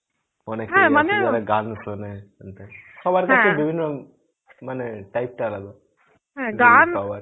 অনেক এ গান সোনে সবার কাছে মানে type টা আলাদা